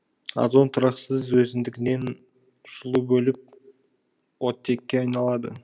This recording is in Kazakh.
озон тұрақсыз өздігінен жылу бөліп оттекке айналады